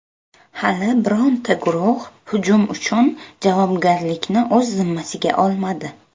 Hali bironta guruh hujum uchun javobgarlikni o‘z zimmasiga olmadi.